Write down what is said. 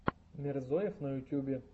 мирзоев на ютубе